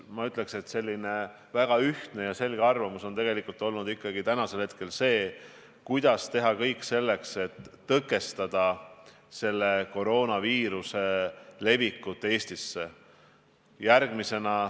Ma ütleks, et selline väga ühtne ja selge arvamus on tänasel hetkel see, et tuleb teha kõik selleks, et tõkestada koroonaviiruse levik mujalt Eestisse.